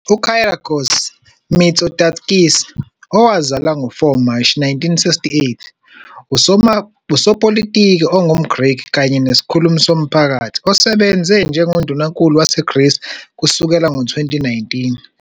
UKyriakos Mitsotakis, owazalwa ngo-4 Mashi 1968, usopolitiki ongumGreki kanye nesikhulumi somphakathi osebenze njengondunankulu waseGreece kusukela ngo-2019.